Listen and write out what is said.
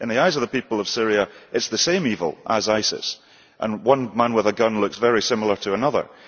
In the eyes of the people of Syria, it is the same evil as ISIS, and one man with a gun looks very similar to another.